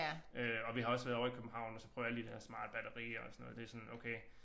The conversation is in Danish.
Øh og vi har også været ovre i København og så prøvet alle de der smarte bagerier og sådan noget det sådan okay